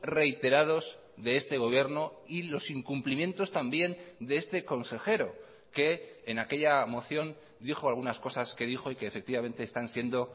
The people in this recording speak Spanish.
reiterados de este gobierno y los incumplimientos también de este consejero que en aquella moción dijo algunas cosas que dijo y que efectivamente están siendo